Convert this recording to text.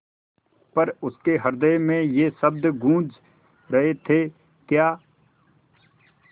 पर उसके हृदय में ये शब्द गूँज रहे थेक्या